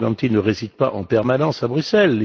Morganti ne réside pas en permanence à Bruxelles?